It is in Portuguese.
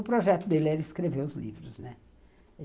O projeto dele era escrever os livros, né?